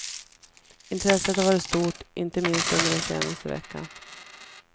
Intresset har varit stort, inte minst under den senaste veckan.